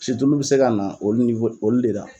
Siulu bi se ka na olu olu de la.